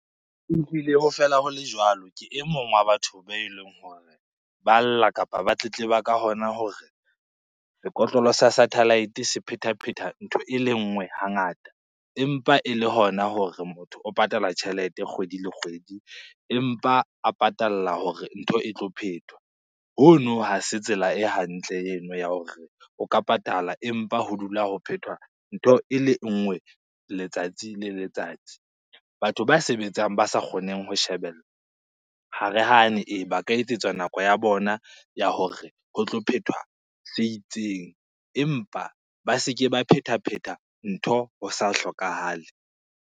E ho fela ho le jwalo, ke e mong wa batho beleng hore ba lla kapa ba tletleba ka hona hore sekotlolo sa satellite se phethaphetha ntho ele nngwe hangata. Empa e le hona hore motho o patala tjhelete kgwedi le kgwedi, empa a patalla hore ntho e tlo phethwa. Hono ha se tsela e hantle eno ya hore o ka patala empa ho dula ho phethwa ntho e le nngwe letsatsi le letsatsi. Batho ba sebetsang ba sa kgoneng ho shebella, ha re hane ba ka etsetswa nako ya bona ya hore ho tlo phethwa se itseng empa ba se ke ba phetaphetha ntho ho sa hlokahale.